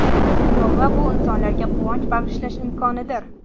Sovg‘a – bu insonlarga quvonch bag‘ishlash imkonidir.